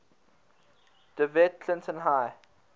dewitt clinton high